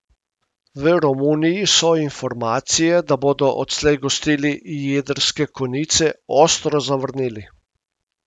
V Romuniji so informacije, da bodo odslej gostili jedrske konice, ostro zavrnili.